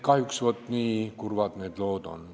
Kahjuks nii kurvad need lood on.